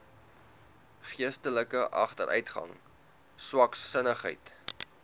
geestelike agteruitgang swaksinnigheid